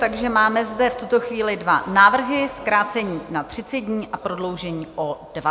Takže máme zde v tuto chvíli dva návrhy: zkrácení na 30 dní a prodloužení o 20 dní.